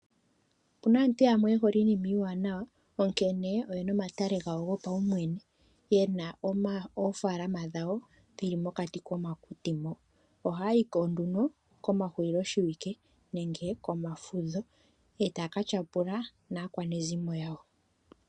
Opuna aantu yamwe yehole iinima iiwanawa onkene oyena omatale gawo go paumwene ,yena oofaalama dhawo dhili mokati komakuti mo ohaya yiko nduno komahulilo shiwike nenge komafudho e taya katyapula naakwanezimo yawo.